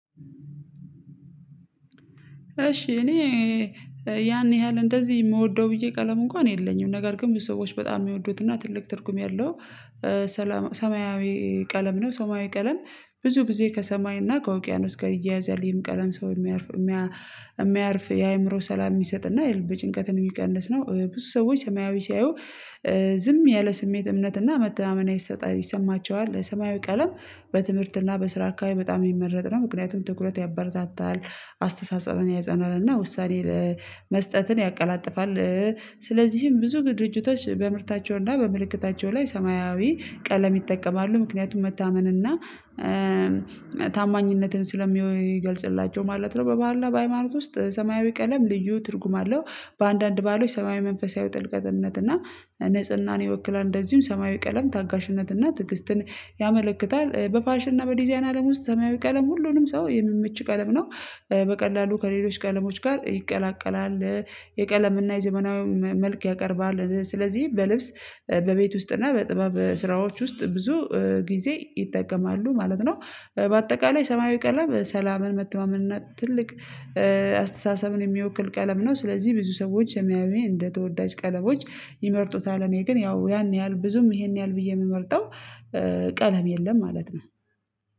እሺ እኔ ያን ያህል እንደዚህ የምወደው ብዬ ቀለም እንኳን የለኝም ነገር ግን ብዙ ሰዎች በጣም የሚወዱትና ትልቅ ትርጉም ያለው ሰላም ሰማያዊ ቀለም ነው። ሰማያዊ ቀለም ብዙ ጊዜ ከሰማይና ከውቅያኖስ ጋር ይያያዛል ይህም ቀለም ሰው የሚያርፍየሚያ የሚያርፍ የአእምሮ ሰላም የሚሰጥና የልብ ጭንቀት ነው የሚቀንስ ነው። ብዙ ሰዎች ሰማያዊ ሲያዩ ዝም ያለ ስሜት እምነት እና መተማመን አይሰጠ ይሰማቸዋል ሰማያዊ ቀለም በትምህርት እና በስራ አካባቢ በጣም የሚመረጥ ነው። ምክንያቱም ትኩረት ያበረታታል አስተሳሰብን ያጸናል እና ውሳኔ መስጠትን ያቀላጥፋል። ስለዚህም ብዙ ድርጅቶች በምርታቸውና በምልክታቸው ላይ ሰማያዊ ቀለም ይጠቀማሉ ምክንያቱም መታመንና ታማኝነትን ስለሚገልጽላቸው ማለት ነው። በባህር በሃይማኖት ውስጥ ሰማያዊ ቀለም ልዩ ትርጉም አለው በአንዳንድ ባህሎች ሰማያዊ መንፈሳዊ ጥልቀትነት እና ንጽህናን ይወክላል እንደዚሁም ሰማያዊ ቀለም ታጋሽነት እና ትግስትን ያመለክታል። በፋሽን እና በዲዛይን አለም ውስጥ ሰማያዊ ቀለም ሁሉንም ሰው የሚመች ቀለም ነው በቀላሉ ከሌሎች ቀለሞች ጋር ይቀላቀላል የቀለምና የዘመናዊው መልክ ያቀርባል። ስለዚህ በልብስ በቤት ውስጥና እና በጥበብ ስራዎች ውስጥ ብዙ ጊዜ ይጠቀማሉ ማለት ነው። በአጠቃላይ ሰማያዊ ቀለም ሰላምን መተማመን እና ትልቅ አስተሳሰብን የሚወክል ቀለም ነው ስለዚህ ብዙ ሰዎች የሚያዩኝ እንደ ተወዳጅ ቀለቦች ይመርጡታል። እኔ ግን ያው ያን ያህል ብዙም ይሄን ያህል ብዬ የምመርጠው ቀለም የለም ማለት ነው።